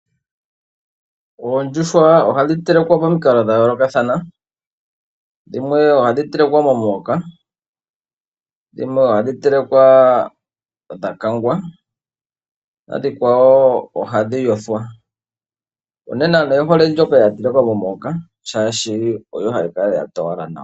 Oondjuhwa ohadhi telekwa pomikalo dha yoolokathana, dhimwe ohadhi telekwa momuhoka, dhimwe ohadhi telekwa dhakangwa, nadhikwawo ohadhi yothwa. Unene aantu oye hole dhoka dha telekwa momuhoka shaashi oyo hayi kala ya towala nawa.